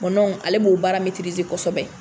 ale b'o baara kosɛbɛ.